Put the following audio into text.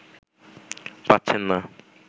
পাচ্ছেন না